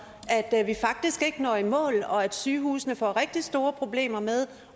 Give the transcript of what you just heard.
at vi faktisk ikke når i mål og at sygehusene får rigtig store problemer med